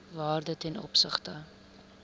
waarde ten opsigte